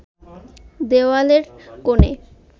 দেওয়ালের কোণে